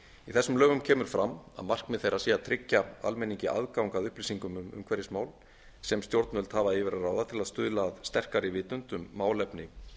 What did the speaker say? í þessum lögum kemur fram að markmið þeirra sé að tryggja almenningi aðgang að upplýsingum um umhverfismál sem stjórnvöld hafa yfir að ráða til að stuðla að sterkari vitund um málefni